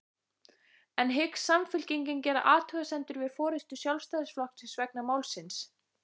En hyggst Samfylkingin gera athugasemdir við forystu Sjálfstæðisflokksins vegna málsins?